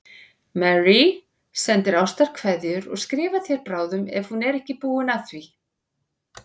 Marie sendir ástarkveðjur og skrifar þér bráðum ef hún er ekki búin að því.